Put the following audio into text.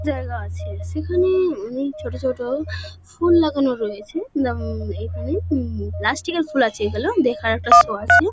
জায়গা আছে সেখানে-এ অনেক ছোট ছোট ফুল লাগানো রয়েছে লাম-ম এখানে উম। প্লাস্টিক -এর ফুল আছে এগুলো। দেখার একটা শো আছে।